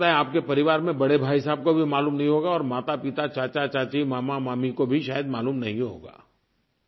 हो सकता है आपके परिवार में बड़े भाई साहब को भी मालूम नहीं होगा और मातापिता चाचाचाची मामामामी को भी शायद मालूम नहीं होगा